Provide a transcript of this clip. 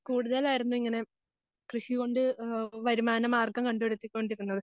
കൂടുതൽ ആയിരുന്നു ഇങ്ങനെ കൃഷി കൊണ്ട് ആഹ് വരുമാനമാർഗം കണ്ടുപിടിച്ചു കൊണ്ടിരുന്നത്.